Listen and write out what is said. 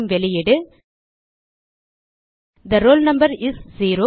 பெறும் வெளியீடு the roll number is 0